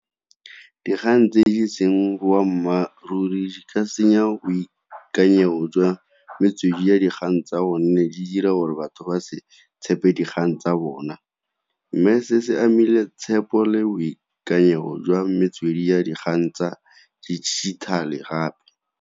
Dikgang tse e seng boammaaruri di ka senya boikanyego jwa metswedi ya dikgang tsa gonne di dira gore batho ba se tshepe dikgang tsa bona, mme se se amile tshepo le boikanyego jwa metswedi ya dikgang tsa dijithale gape.